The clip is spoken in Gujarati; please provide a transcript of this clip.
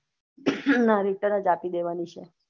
ના return જ આપી દેવાની છે